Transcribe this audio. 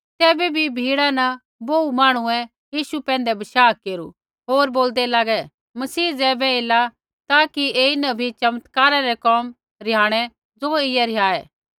तैबै भी भिड़ा न बोहू मांहणुऐ यीशु पैंधै बशाह केरू होर बोल्दै लागे मसीह ज़ैबै एला ता कि ऐईन भी चमत्कारा रै कोम रिहाणै ज़ो ऐईयै रिहाऐ